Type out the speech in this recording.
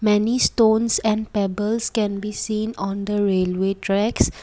many stones and pebbles can be seen on the railway tracks.